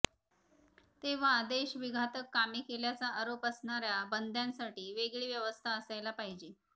तेव्हा देशविघातक कामे केल्याचा आरोप असणाऱ्या बंद्यांसाठी वेगळी व्यवस्था असायला पाहिजे